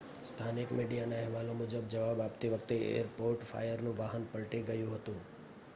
સ્થાનિક મીડિયાના અહેવાલો મુજબ જવાબ આપતી વખતે એરપોર્ટ ફાયરનું વાહન પલટી ગયું હતું